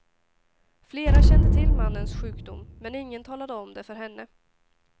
Flera kände till mannens sjukdom, men ingen talade om det för henne.